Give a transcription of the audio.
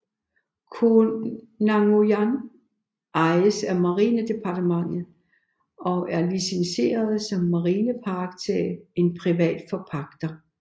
Koh Nanguyan ejes af Marine Department og er licenseret som marine park til en privat forpagter